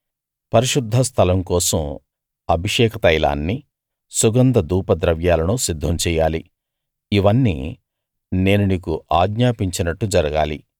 పరిశుద్ధ స్థలం కోసం అభిషేక తైలాన్ని సుగంధ ధూప ద్రవ్యాలను సిద్ధం చెయ్యాలి ఇవన్నీ నేను నీకు ఆజ్ఞాపించినట్టు జరగాలి